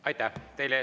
Aitäh!